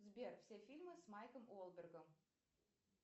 сбер все фильмы с майклом уолбергом